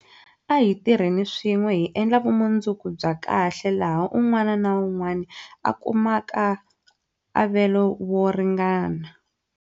A hi tirheni swin'we hi endla vumundzuku bya kahle laha un'wana na un'wana a kumaka avelo wo ringana.